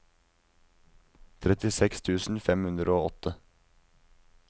trettiseks tusen fem hundre og åtte